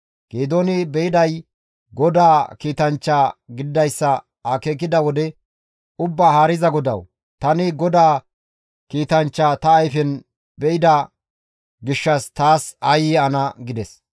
Geedooni beyday GODAA kiitanchcha gididayssa akeekida wode, «Ubbaa haariza GODAWU! Tani GODAA kiitanchcha ta ayfen be7ida gishshas taas aayye ana!» gides.